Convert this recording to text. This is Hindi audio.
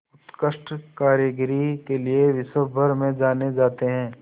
उत्कृष्ट कारीगरी के लिये विश्वभर में जाने जाते हैं